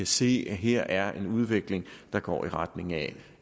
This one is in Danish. se at her er en udvikling der går i retning af